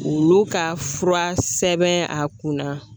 Olu ka fura sɛbɛn a kunna